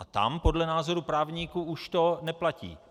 A tam podle názoru právníků už to neplatí.